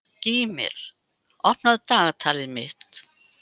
Gýmir, opnaðu dagatalið mitt.